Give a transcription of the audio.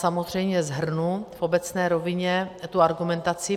Samozřejmě shrnu v obecné rovině tu argumentaci.